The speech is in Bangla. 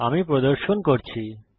আমি প্রদর্শন করছি